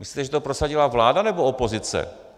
Myslíte, že to prosadila vláda, nebo opozice?